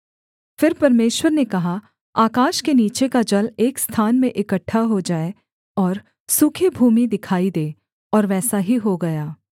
फिर परमेश्वर ने कहा आकाश के नीचे का जल एक स्थान में इकट्ठा हो जाए और सूखी भूमि दिखाई दे और वैसा ही हो गया